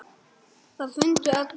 Það fundu allir.